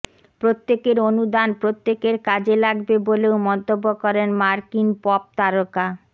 প্রত্যেকের অনুদান প্রত্যেকের কাজে লাগবে বলেও মন্তব্য করেন মার্কিন পপ তারকা